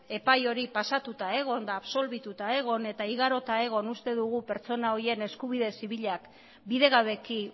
epai hori pasatuta egon absolbituta egon eta igarota egon uste dugu pertsona horien eskubide zibilak bidegabeki